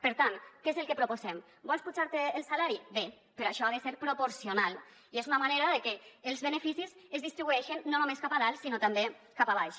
per tant què és el que proposem vols apujar te el salari bé però això ha de ser proporcional i és una manera de que els beneficis es distribueixen no només cap a dalt sinó també cap a baix